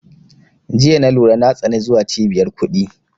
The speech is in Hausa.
Jiya na lura na tsani zuwa cibiyar kuɗi